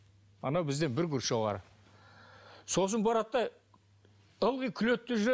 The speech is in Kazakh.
анау бізден бір курс жоғары сосын барады да ылғи күледі де жүреді